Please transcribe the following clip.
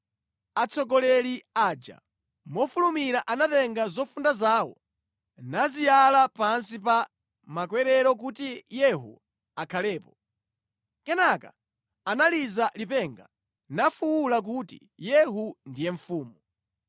Atsogoleri aja mofulumira anatenga zofunda zawo naziyala pansi pa makwerero kuti Yehu akhalepo. Kenaka analiza lipenga, nafuwula kuti, “Yehu ndiye mfumu!”